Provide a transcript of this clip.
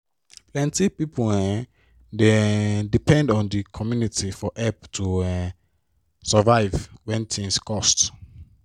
plenti pipo um dey um depend on d community for help to um survive when tins cost.